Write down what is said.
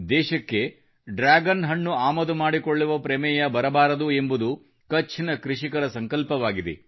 ದೇಶಕ್ಕೆ ಡ್ರ್ಯಾಗನ್ ಹಣ್ಣು ಆಮದು ಮಾಡಿಕೊಳ್ಳುವ ಪ್ರಮೇಯ ಬರಬಾರದು ಎಂಬುದು ಕಛ್ ನ ಕೃಷಿಕರ ಸಂಕಲ್ಪವಾಗಿದೆ